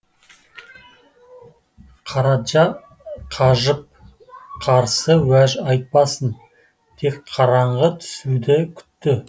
қараджа қажып қарсы уәж айтпасын тек қараңғы түсуді күтті